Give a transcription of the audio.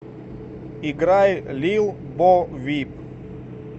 играй лил бо вип